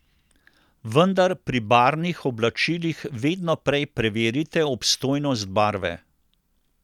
Vendar pri barvnih oblačilih vedno prej preverite obstojnost barve.